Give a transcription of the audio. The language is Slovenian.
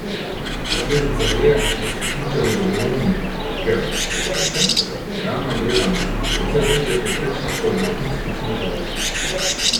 Posledica je, da so smučarji zadovoljni, ker, poglejte, realno gledano, precej več je povprečnih kot vrhunskih smučarjev.